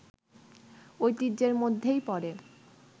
ঐতিহ্যের মধ্যেই পড়ে